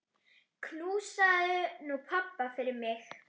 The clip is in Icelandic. Knúsaðu nú pabba fyrir mig.